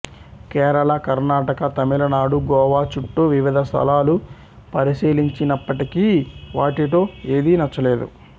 కేరళ కర్ణాటక తమిళనాడు గోవా చుట్టూ వివిధ స్ధలాలు పరిశీలించినప్పటికీ వాటిలో ఏది నచ్చలేదు